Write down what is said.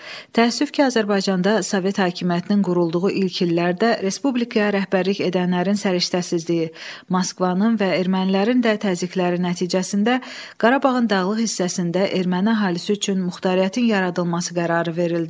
Təəssüf ki, Azərbaycanda sovet hakimiyyətinin qurulduğu ilk illərdə respublikaya rəhbərlik edənlərin səriştəsizliyi, Moskvanın və ermənilərin də təzyiqləri nəticəsində Qarabağın dağlıq hissəsində erməni əhalisi üçün muxtariyyətin yaradılması qərarı verildi.